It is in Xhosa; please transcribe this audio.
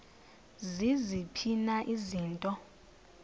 ziziphi na izinto